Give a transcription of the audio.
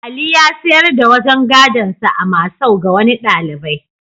Ali ya sayar da wajen gadonsa a masau ga wani ɗalibai.